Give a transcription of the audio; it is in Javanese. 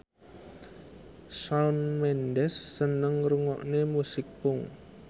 Shawn Mendes seneng ngrungokne musik punk